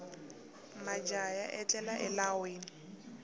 majaha ya etlela elawini